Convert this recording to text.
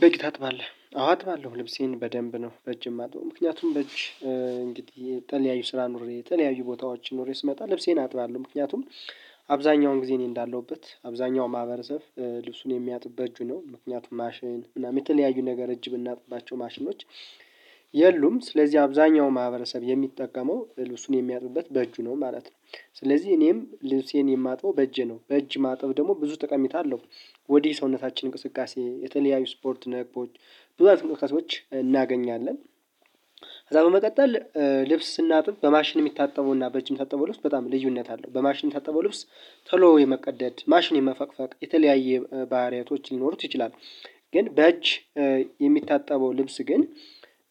በጂ ታጥባለህ አዎ አጥባለሁ ልብሴን በደንብ ነው በጅ ማጥበው ምክንያቱም በጅ እንግዲህ ተለያዩ ስራ ኑሬ ተለያዩ ቦታዎች ኑሬ ስመጣ ልብሴን አጥባለሁ። ምክንያቱም አብዛኛውን ጊዜ እኔ እንዳለሁበት አብዛኛው ማህበረሰብ ልብሱን የሚያጥበት በጁ ነው ምክንያቱም ማሽን የተለያዩ ነገር በጅ የምናጥባቸው ማሽኖች። የሉም ስለዚህ አብዛኛው ማህበረሰብ የሚጠቀመው ልብሱን የሚያጥበት በእጁ ነው ማለት ነው። ስለዚህ እኔም ልብሴን የማጥበው በእጅ ነው በእጅ ማጥብ ደግሞ ብዙ ተቀሜታ አለው። ወዲህ ሰውነታችን እንቅስቃሴ የተለያዩ ስፖርት ነቦች ብዙ ዕውቀቶች እናገኛለን። ከዛ በመቀጠል ልብስ ስናጥብ በማሽን የሚታጠበው እና በእጅግ የሚታጠበው ልብስ በጣም ልዩነት አለው። በማሽን የሚታጠበው ልብስ ቶሎ የመቀደድ ማሽን የመፈቅፈቅ የተለያየ ባህሪያቶች ሊኖሩት ይችላሉ። ግን በእጅ የሚታጠበው ልብስ ግን